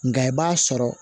Nka i b'a sɔrɔ